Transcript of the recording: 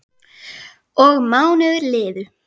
Og mánuðir liðu.